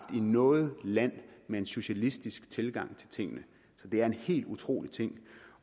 i noget land med en socialistisk tilgang til tingene så det er en helt utrolig ting